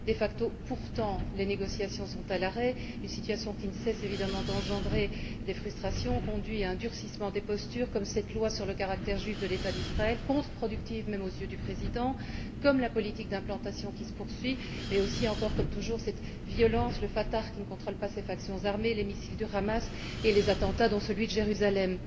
De facto, pourtant, les négociations sont à l'arrêt, une situation qui ne cesse évidemment d'engendrer des frustrations et conduit à un durcissement des postures, comme cette loi sur le caractère juif de l'État d'Israël, contreproductive même aux yeux du président, comme la politique d'implantation qui se poursuit mais aussi comme cette violence, encore et toujours, celle du Fatah qui ne contrôle pas ses factions armées, celle des milices du Hamas et celle des attentats, dont celui de Jérusalem.